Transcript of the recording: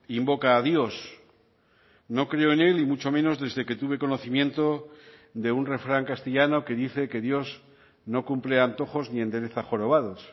invoca a dios no creo en él y mucho menos desde que tuve conocimiento de un refrán castellano que dice que dios no cumple antojos ni endereza jorobados